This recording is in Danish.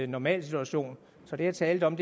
normal situation så det jeg talte om